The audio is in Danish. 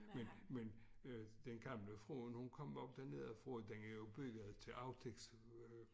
Men men øh den gamle fruen hun kom op dernedefra dengang og byttede til aftægts